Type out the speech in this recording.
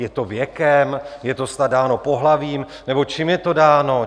Je to věkem, je to snad dáno pohlavím, nebo čím je to dáno?